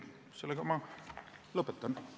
Sellega ma lõpetan.